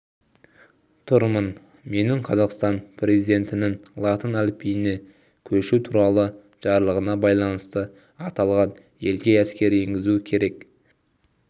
тұрмын менің қазақстан президентінің латын әліпбиіне көшу туралы жарлығына байланысты аталған елге әскер енгізу керек